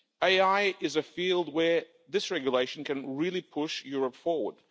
AI is a field where this regulation can really push Europe forward.